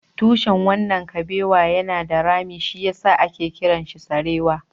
Tushen wannan kabewa yana da rami, shi ya sa ake kiransa sarewa